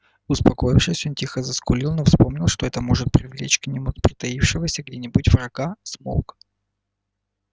успокоившись он тихо заскулил но вспомнив что это может привлечь к нему притаившегося где нибудь врага смолк